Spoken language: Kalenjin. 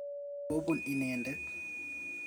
kobun inendet.